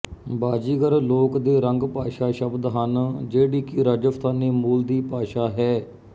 ਬਾਜ਼ੀਗਰ ਲੋਕ ਦੇ ਰੰਗ ਭਾਸ਼ਾ ਸ਼ਬਦ ਹਨ ਜਿਹੜੀ ਕਿ ਰਾਜਸਥਾਨੀ ਮੂਲ ਦੀ ਭਾਸ਼ਾ ਹੈ